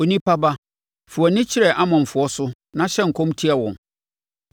“Onipa ba, fa wʼani kyerɛ Amonfoɔ so na hyɛ nkɔm tia wɔn.